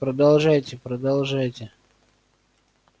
продолжайте продолжайте